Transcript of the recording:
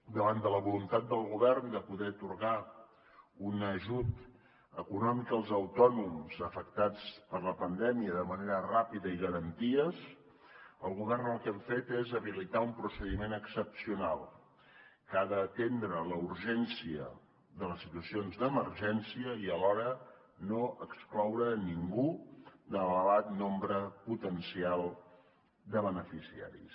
davant de la voluntat del govern de poder atorgar un ajut econòmic als autònoms afectats per la pandèmia de manera ràpida i amb garanties el govern el que hem fet és habilitar un procediment excepcional que ha d’atendre la urgència de les situacions d’emergència i alhora no excloure ningú de l’elevat nombre potencial de beneficiaris